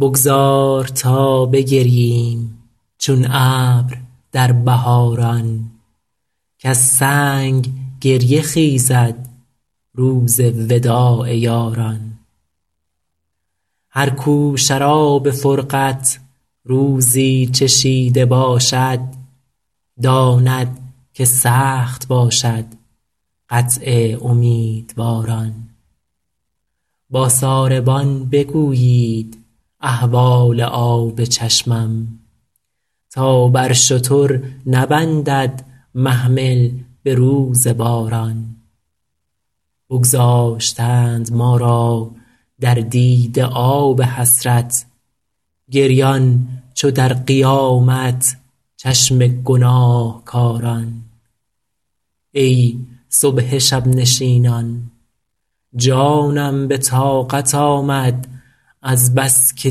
بگذار تا بگرییم چون ابر در بهاران کز سنگ گریه خیزد روز وداع یاران هر کو شراب فرقت روزی چشیده باشد داند که سخت باشد قطع امیدواران با ساربان بگویید احوال آب چشمم تا بر شتر نبندد محمل به روز باران بگذاشتند ما را در دیده آب حسرت گریان چو در قیامت چشم گناهکاران ای صبح شب نشینان جانم به طاقت آمد از بس که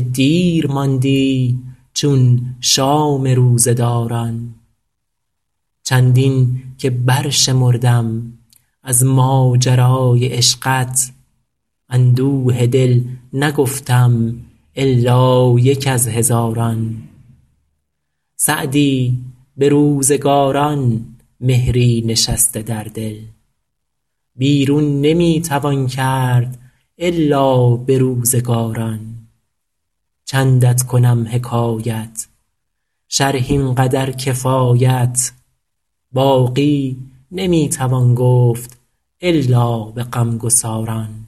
دیر ماندی چون شام روزه داران چندین که برشمردم از ماجرای عشقت اندوه دل نگفتم الا یک از هزاران سعدی به روزگاران مهری نشسته در دل بیرون نمی توان کرد الا به روزگاران چندت کنم حکایت شرح این قدر کفایت باقی نمی توان گفت الا به غمگساران